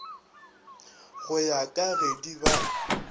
go ya ka gedi ba